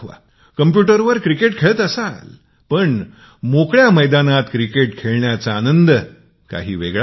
कम्प्युटरवरील क्रिकेटपेक्षा मोकळ्या मैदानातील क्रिकेटचा खेळण्याचा आनंद काही वेगळाच आहे